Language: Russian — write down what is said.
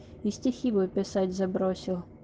и стихи бы писать забросил